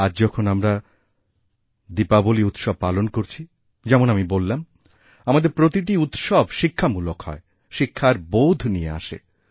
আজ যখন আমরা দীপাবলী উৎসব পালন করছি যেমন আমি বললামআমাদের প্রতিটি উৎসব শিক্ষামূলক হয় শিক্ষার বোধ নিয়ে আসে